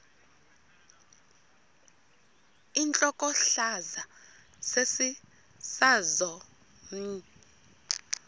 intlokohlaza sesisaz omny